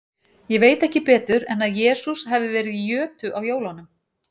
Ég veit ekki betur en að Jesús hafi verið í jötu á jólunum.